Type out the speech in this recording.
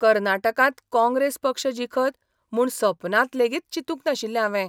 कर्नाटकांत काँग्रेस पक्ष जिखत म्हूण सपनांत लेगीत चिंतूक नाशिल्लें हांवें.